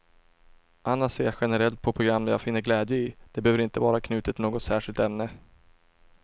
Annars ser jag generellt på program jag finner glädje i, det behöver inte vara knutet till något särskilt ämne.